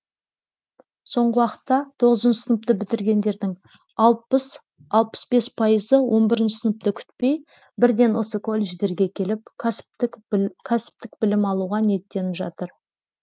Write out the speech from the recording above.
соңғы уақытта тоғызыншы сыныпты бітіргендердің алпыс алпыс бес пайызы он бірінші сыныпты күтпей бірден осы колледждерге келіп кәсіптік білім алуға ниеттеніп жатыр